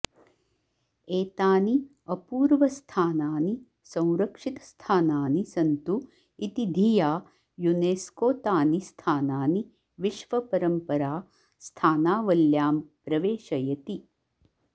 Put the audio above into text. एतानि अपूर्वस्थानानि संरक्षितस्थानानि सन्तु इति धिया युनेस्कोतानि स्थानानि विश्वपरम्परास्थानावल्यां प्रवेशयति